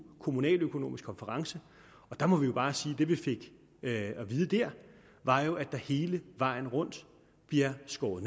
en kommunaløkonomisk konference og der må vi jo bare sige at det vi fik at vide dér var at der hele vejen rundt bliver skåret